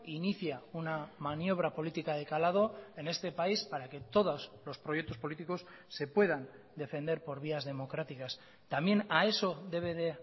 inicia una maniobra política de calado en este país para que todos los proyectos políticos se puedan defender por vías democráticas también a eso debe de